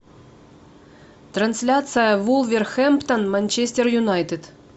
трансляция вулверхэмптон манчестер юнайтед